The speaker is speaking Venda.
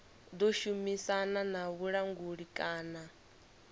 ḓo shumisana na vhulanguli kana